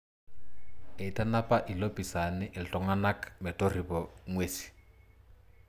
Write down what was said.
Eitanapa ilopiisani iltunganak metorripo nguesi.